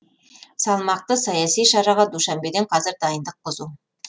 салмақты саяси шараға душанбеде қазір дайындық қызу